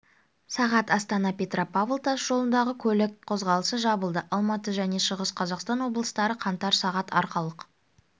сағат астана петропавл тас жолындағы көлік қозғалысы жабылды алматы және шығыс қазақстан облыстары қаңтар сағат арқалық